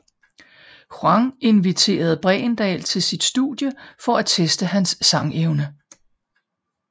Quang inviterede Bregendal til sit studie for at teste hans sangevne